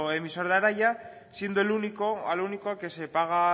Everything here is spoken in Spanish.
emisor de araia siendo al único al que se paga